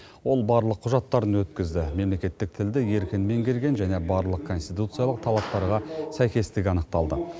ол барлық құжаттарын өткізді мемлекеттік тілді еркін меңгерген және барлық конституциялық талаптарға сәйкестігі анықталды